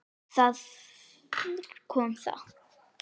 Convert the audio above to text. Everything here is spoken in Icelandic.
Þar kom það.